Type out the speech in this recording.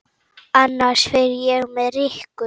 Annars fer ég með Rikku